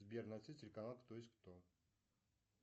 сбер найди телеканал кто есть кто